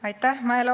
Aitäh!